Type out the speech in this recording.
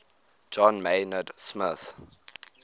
john maynard smith